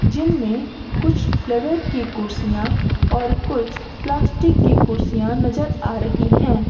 जिनमें कुछ लेदर की कुर्सियां और कुछ प्लास्टिक की कुर्सियां नजर आ रही हैं।